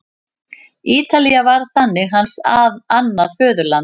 Ítalía varð þannig hans annað föðurland.